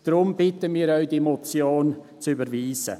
Deshalb bitten wir Sie, diese Motion zu überweisen.